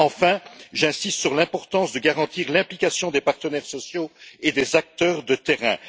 Enfin, j'insiste sur l'importance de garantir la participation des partenaires sociaux et des acteurs de terrain.